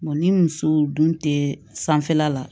ni muso dun tɛ sanfɛla la